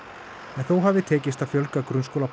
en þó hafi tekist hafi að fjölga